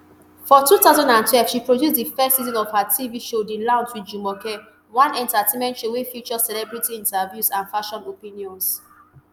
for two thousand and twelve she produce di first season of her tv show the lounge wit jumoke one entertainment show wey feature celebrity interviews and fashion opinions